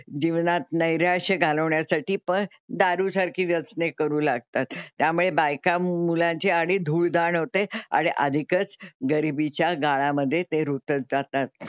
जीवनात नैराश्य घालवण्यासाठी पण दारूसारखी व्यसने करू लागतात. त्यामुळे बायका मुलांची आणि धूळधाण होते आणि अधिकच गरीबीच्या गाळामध्ये ते रुतत जातात.